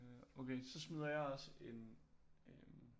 Okay så smider jeg også en øh